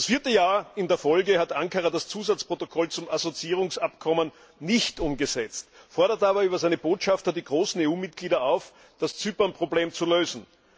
Das vierte Jahr in Folge hat Ankara das Zusatzprotokoll zum Assoziierungsabkommen nicht umgesetzt, fordert aber über seine Botschafter die großen EU Mitgliedstaaten auf, das Zypernproblem zu lösen.